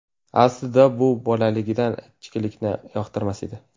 Aslida u bolaligidan ichkilikni yoqtirmas edi.